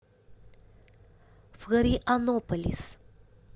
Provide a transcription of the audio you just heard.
флорианополис